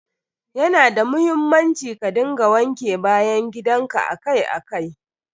Ya na da muhimmanci ka dinga wanke bayan gidan ka akai akai.